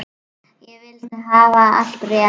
Ég vildi hafa allt rétt.